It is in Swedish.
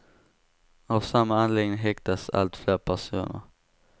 Av samma anledning häktas allt fler personer.